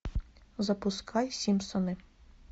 запускай симпсоны